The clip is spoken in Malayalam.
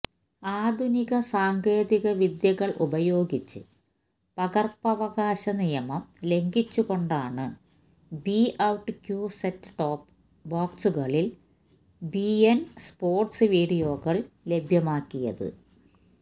ആധുനിക സാങ്കേതിക വിദ്യകള് ഉപയോഗിച്ച് പകര്പ്പവകാശ നിയമം ലംഘിച്ച്കൊണ്ടാണ് ബിഔട്ട്ക്യു സെറ്റ്ടോപ്പ് ബോക്സുകളില് ബിഇന് സ്പോര്ട്സ് വീഡിയോകള് ലഭ്യമാക്കിയത്